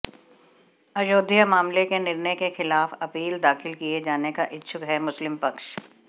अयोध्या मामले के निर्णय के खिलाफ अपील दाखिल किये जाने का इच्छुक है मुस्लिम पक्ष